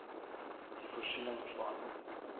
die voorsiening van